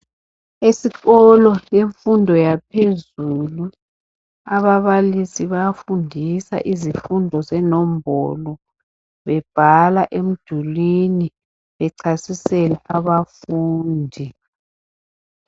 Esikolo yemfundo yaphezulu ababalisi bayafundisa izifundo zenombolo bebhala emdulini bechasisela abafundi.